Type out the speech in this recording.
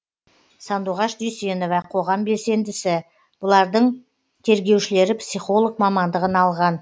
сандуғаш дүйсенова қоғам белсендісі бұлардың тергеушілері психолог мамандығын алған